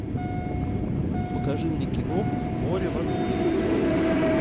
покажи мне киноху море в огне